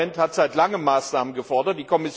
Das Parlament hat seit langem Maßnahmen gefordert.